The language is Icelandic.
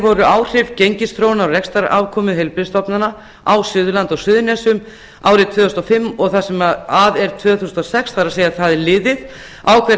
voru áhrif gengisþróunar á rekstrarafkomu heilbrigðisstofnana á suðurlandi og suðurnesjum árið tvö þúsund og fimm og það sem af er tvö þúsund og sex á hvern